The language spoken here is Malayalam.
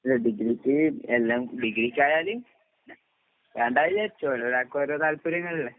അല്ല ഡിഗ്രിക്ക് എല്ലാം, ഡിഗ്രിക്കായാല് വേണ്ടാ വിചാരിച്ചു. ഓരോരാൾക്കും ഓരോ താല്പര്യങ്ങളില്ലേ?